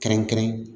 Kɛrɛnkɛrɛn